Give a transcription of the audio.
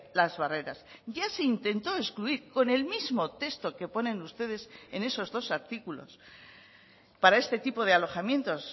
las barreras ya se intentó excluir con el mismo texto que ponen ustedes en esos dos artículos para este tipo de alojamientos